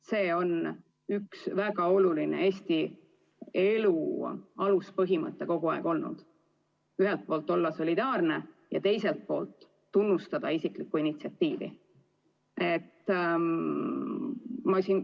See on väga oluline Eesti elu aluspõhimõte kogu aeg olnud: ühelt poolt olla solidaarne ja teiselt poolt tunnustada isiklikku initsiatiivi.